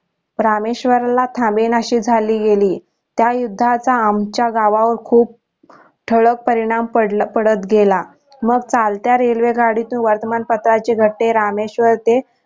रामेश्वरला थांबेनाशी झालील गेली त्या युद्धाचा आमच्या गावावर खूप ठळक परिणाम पडत गेला मग चालत्या railway गाडीत वर्तमान पत्राचे गठ्ठे रामेश्वर ते